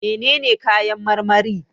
Menene kayan marmari?